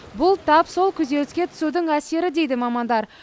бұл тап сол күйзеліске түсудің әсері дейді мамандар